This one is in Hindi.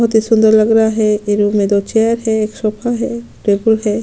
बहुत ही सुंदर लग रहा है ये रूम में दो चेयर है एक सोफा है टेबल है।